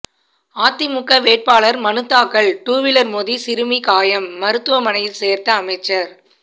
அதிமுக வேட்பாளர் மனு தாக்கல் டூவீலர் மோதி சிறுமி காயம் மருத்துவமனையில் சேர்த்த அமைச்சர்